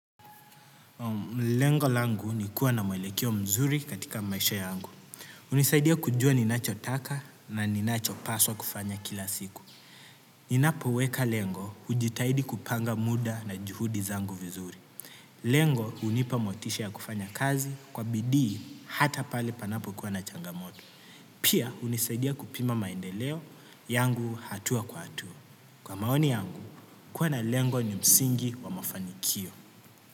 Lengo langu ni kuwa na mwelekeo mzuri katika maisha yangu. Unisaidia kujua ninacho taka na ninacho paswa kufanya kila siku. Ninapoweka lengo hujitaidi kupanga muda na juhudi zangu vizuri. Lengo unipamotisha ya kufanya kazi kwa bidii hata pale panapo kua na changamoto. Pia hunisaidia kupima maendeleo yangu hatua kwa hatua. Kwa maoni yangu kuwa na lengo ni msingi wa mafanikio.